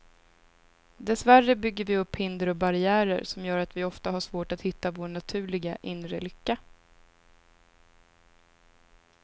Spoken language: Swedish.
Dessvärre bygger vi upp hinder och barriärer som gör att vi ofta har svårt att hitta vår naturliga, inre lycka.